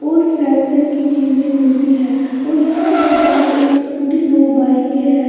और सैमसंग की चीजें मिलती हैं और यहां पर बाहर एक स्कूटी दो बाइकें हैं।